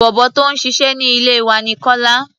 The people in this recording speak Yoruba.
Bọ̀bọ́ tó ń ṣiṣẹ́ ní ilé wa ní Kọ́lá.